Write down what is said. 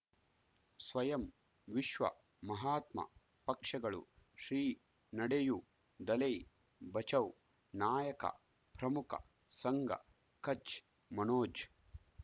ಸ್ವಯಂ ವಿಶ್ವ ಮಹಾತ್ಮ ಪಕ್ಷಗಳು ಶ್ರೀ ನಡೆಯೂ ದಲೈ ಬಚೌ ನಾಯಕ ಪ್ರಮುಖ ಸಂಘ ಕಚ್ ಮನೋಜ್